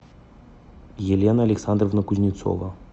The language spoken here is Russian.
елена александровна кузнецова